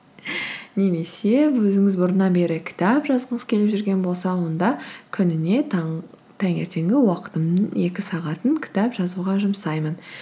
немесе өзіңіз бұрыннан бері кітап жазғыңыз келіп жүрген болса онда күніне таңертеңгі уақытымның екі сағатын кітап жазуға жұмсаймын